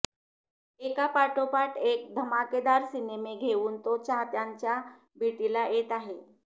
एकापाठोपाठ एक धमाकेदार सिनेमे घेवून तो चाहत्यांच्या भेटीला येत आहे